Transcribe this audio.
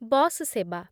bus ସେବା